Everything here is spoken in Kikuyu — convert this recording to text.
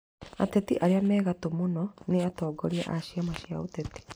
Ateti arĩa me gatũ mũno nĩ atongoria a ciama cia ũteti